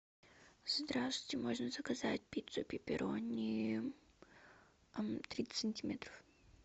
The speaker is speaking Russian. здравствуйте можно заказать пиццу пепперони тридцать сантиметров